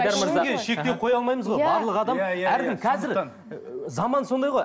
ешкімге шектеу қоя алмаймыз ғой барлық адам әркім қазір ыыы заман сондай ғой